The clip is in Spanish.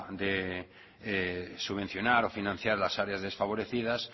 de subvencionar o financiar las áreas desfavorecidas